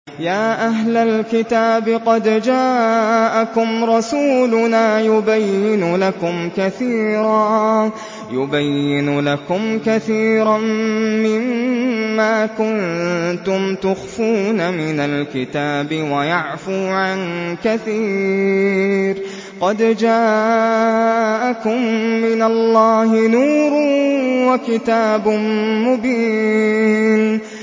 يَا أَهْلَ الْكِتَابِ قَدْ جَاءَكُمْ رَسُولُنَا يُبَيِّنُ لَكُمْ كَثِيرًا مِّمَّا كُنتُمْ تُخْفُونَ مِنَ الْكِتَابِ وَيَعْفُو عَن كَثِيرٍ ۚ قَدْ جَاءَكُم مِّنَ اللَّهِ نُورٌ وَكِتَابٌ مُّبِينٌ